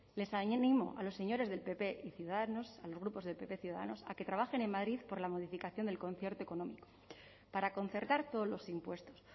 les animo a los señores del pp y ciudadanos a los grupos de pp ciudadanos a que trabajen en madrid por la modificación del concierto económico para concertar todos los impuestos